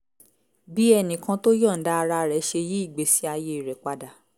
bí ẹnì kan tó yọ̀ǹda ara rẹ̀ ṣe yí ìgbésí ayé rẹ̀ padà